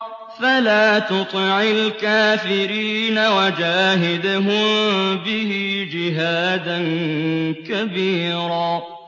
فَلَا تُطِعِ الْكَافِرِينَ وَجَاهِدْهُم بِهِ جِهَادًا كَبِيرًا